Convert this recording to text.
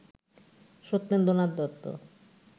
Satyendranath Dutta